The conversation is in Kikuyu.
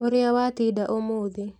Ũrĩa watinda ũmũthĩ